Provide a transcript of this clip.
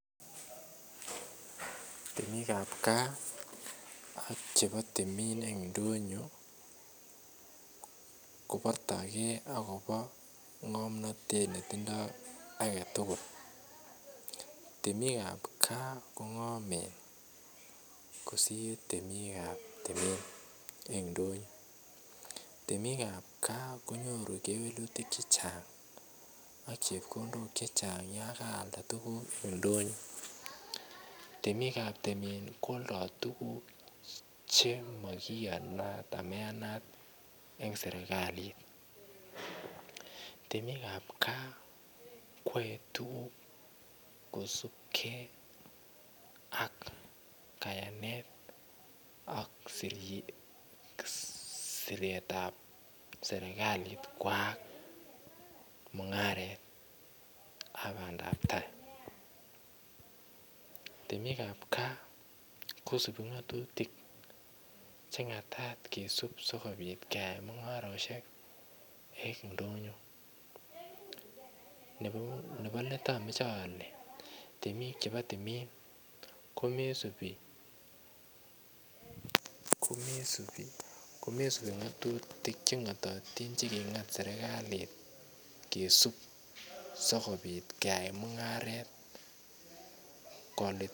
Temikab gaa aK chebo timin en indonyo kobortoigee akobo ngomnotet netindoi agetugul temikab kipgaa kongomen kosir temikab timin en indonyo temikab gaa konyoru kewelutik chechang aK chebkondok che chang yon alda tuguk en indonyo temikab timin kwoldo tuguk chemaiyanat amaiyanat en serkalit temikab gaa koyoe tuguk kosubgei ak kayanet aK siretab serkalit koyat mungaret aK bandab tai temikab gaa kosubi ngatutik chemagat sigeyai mungaret en ndonyo nebolet amoche ole temik chebo timin komoisibu komoisibu ngatutik chengototin che kingat sergali sigeyaen mungaret kolititit